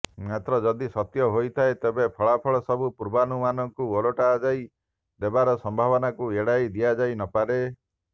ମାତ୍ର ଯଦି ସତ୍ୟ ହୋଇଥାଏ ତେବେ ଫଳାଫଳ ସବୁ ପୁର୍ବାନୁମାନକୁ ଓଲଯାଇ ଦେବାର ସମ୍ଭାବନାକୁ ଏଡାଇ ଦିଆଯାଇ ନପାରେ